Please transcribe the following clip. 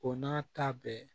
O n'a ta bɛɛ